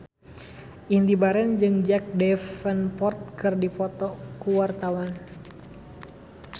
Indy Barens jeung Jack Davenport keur dipoto ku wartawan